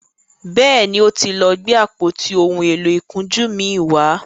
béèni o tí lọ Gbe àpótí òún èló ìkunjú mí wá.